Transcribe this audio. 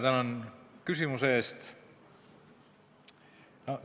Tänan küsimuse eest!